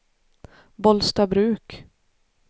Bollstabruk